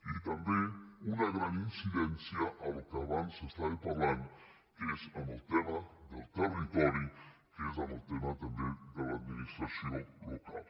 i també una gran incidència al que abans s’estava parlant que és el tema del territori que és el tema també de l’administració local